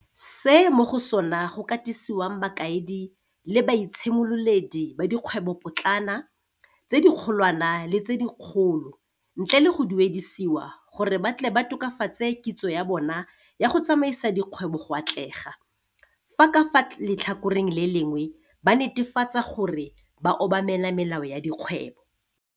se mo go sona go katisiwang bakaedi le baitshimololedi ba dikgwebopotlana, tse dikgolwana le tse dikgolo ntle le go duedisiwa gore ba tle ba tokafatse kitso ya bona ya go tsamaisa dikgwebo go atlega, fa ka fa le tlhakoreng le lengwe ba netefatsa gore ba obamela melao ya dikgwebo.